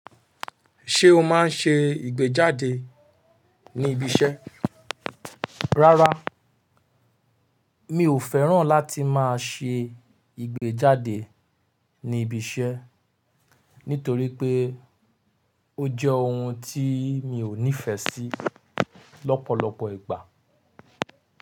Ṣé o máa ń ṣe ìgbéjáde ní ibi iṣẹ́? Rárá, mi ò fẹ́ràn láti máa ṣe ìgbéjáde ní ibi iṣẹ́ nítorí pé ó jẹ́ ohun tí mi ò nífẹ̀ẹ́ sí lọ́pọ̀lọpọ̀ ìgbà.